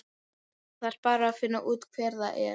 Ég þarf bara að finna út hver það er.